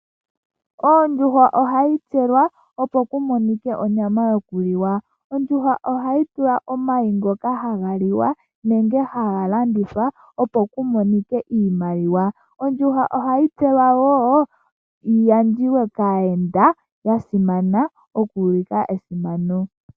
Ondjuhwa ohayi tselwa opo ku monike onyama yokuliwa. Ondjuhwa ohayi tula omayi ngoka haga liwa nenge haga landithwa opo ku monike iimaliwa. Ondjuhwa ohayi tselwa wo yi gandjiwe kaayenda ya simana oku ulika esimano.